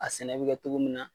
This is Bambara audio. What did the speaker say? A sɛnɛ bɛ kɛ cogo min na